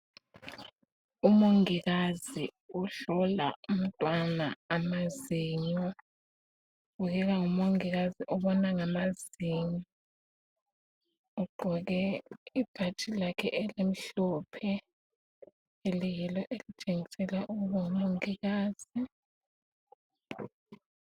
Umongikazi uhlola umntwana amazinyo. Ubukeka ngumongikazi obona ngamazinyo, ugqoke ibhatshi lakhe elimhlophe eliyilo elitshengisela ukuba ngumongikazi.